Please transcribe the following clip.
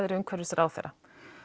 er umhverfisráðherra